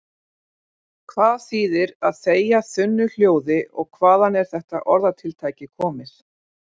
Hvað þýðir að þegja þunnu hljóði og hvaðan er þetta orðatiltæki komið?